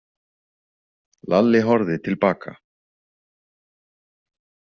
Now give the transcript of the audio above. Lalli horfði til baka.